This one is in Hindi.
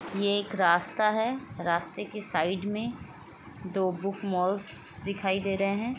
ये एक रास्ता है रास्ते के साइड में दो बुक मॉल्स दिखाई दे रहे है।